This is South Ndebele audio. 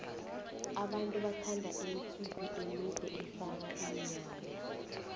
abantu bathanda imitswipi emide efaka iinyawo